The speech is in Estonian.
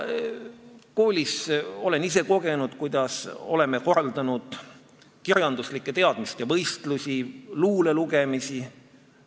Olen ise kogenud, kuidas koolis korraldatakse kirjanduslike teadmiste võistlusi, luulelugemisi.